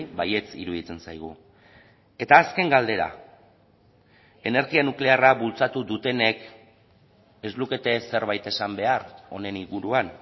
baietz iruditzen zaigu eta azken galdera energia nuklearra bultzatu dutenek ez lukete zerbait esan behar honen inguruan